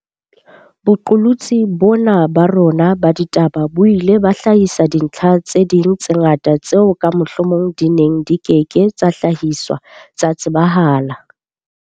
Boqolotsi bona ba rona ba ditaba bo ile ba hlahisa dintlha tse ding tse ngata tseo ka mohlomong di neng di ke ke tsa hlahiswa tsa tsebahala.